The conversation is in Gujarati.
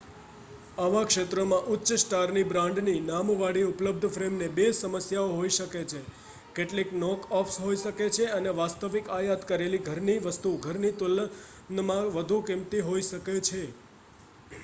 આવા ક્ષેત્રોમાં ઉચ્ચ-સ્ટારની બ્રાન્ડની નામ વાળી ઉપલબ્ધ ફ્રેમને બે સમસ્યાઓ હોય શકે છે કેટલીક નોક-ઓફ્સ હોઈ શકે છે અને વાસ્તવિક આયાત કરેલી ઘરની વસ્તુ ઘરની તુલનમાં વધુ કિંમતી હોઈ શકે છે